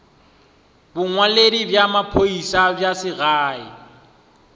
bongwaledi bja maphodisa bja segae